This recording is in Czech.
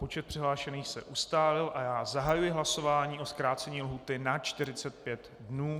Počet přihlášených se ustálil a já zahajuji hlasování o zkrácení lhůty na 45 dnů.